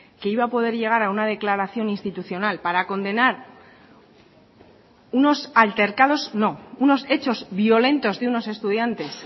que iba a poder llegar a una declaración institucional para condenar unos altercados no unos hechos violentos de unos estudiantes